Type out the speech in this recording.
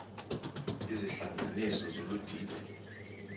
izihlanganisi zolu didi